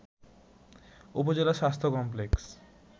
উপজেলা স্বাস্থ্য কমপ্লেক্স